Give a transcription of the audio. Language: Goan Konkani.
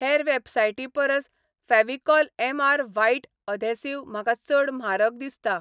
हेर वेबसायटीं परस फॅव्हिकॉल एमआर व्हाइट एधेसीव म्हाका चड म्हारग दिसता